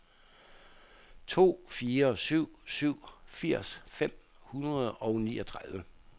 to fire syv syv firs fem hundrede og niogtredive